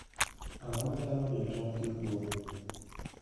Ang'o manyalo miyo tong' kik gol?